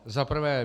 Za prvé.